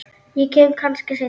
Ég kem kannski seinna